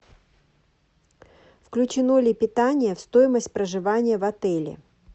включено ли питание в стоимость проживания в отеле